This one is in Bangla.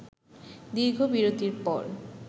দীর্ঘ বিরতির পর